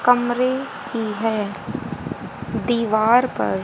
कमरे की है दीवार पर--